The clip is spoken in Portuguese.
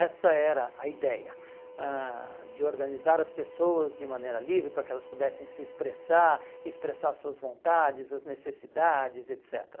Essa era a ideia, ãh de organizar as pessoas de maneira livre para que elas pudessem se expressar, expressar suas vontades, as necessidades, etc.